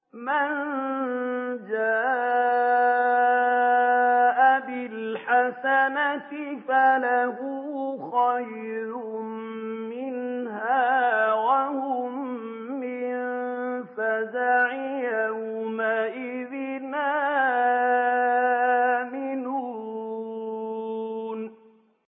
مَن جَاءَ بِالْحَسَنَةِ فَلَهُ خَيْرٌ مِّنْهَا وَهُم مِّن فَزَعٍ يَوْمَئِذٍ آمِنُونَ